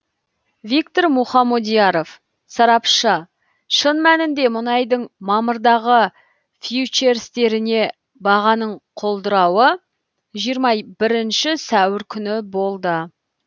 виктор мухомодьяров сарапшы шын мәнінде мұнайдың мамырдағы фьючерстеріне бағаның құлдырауы жиырма бірінші сәуір күні болды